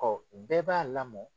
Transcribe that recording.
bɛɛ b'a lamɔ.